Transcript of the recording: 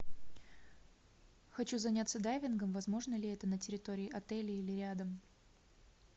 хочу заняться дайвингом возможно ли это на территории отеля или рядом